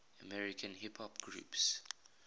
american hip hop groups